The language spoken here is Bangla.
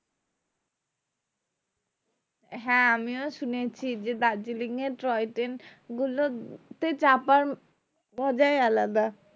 হ্যাঁ আমিও শুনেছি যে দার্জিলিং এর toy train গুলো তে চাপা মজাই আলাদা